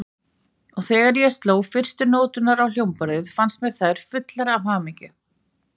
Og þegar ég sló fyrstu nóturnar á hljómborðið, fannst mér þær fullar af hamingju.